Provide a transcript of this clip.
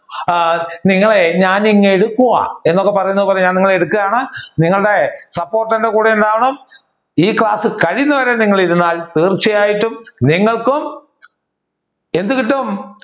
ആഹ് നിങ്ങളെ ഞാൻ ഇങ് എടുക്കുവാ എന്നൊക്കെ പറയുന്നത് പോലെ ഞാൻ നിങ്ങളെ എടുക്കുകയാണ് നിങ്ങളുടെ support എന്റെ കൂടെ ഉണ്ടാവണം ഈ ക്ലാസ് കഴിയുന്നത് വരെ നിങ്ങൾ ഇരുന്നാൽ തീർച്ചയായിട്ടും നിങ്ങൾക്കും എന്ത് കിട്ടും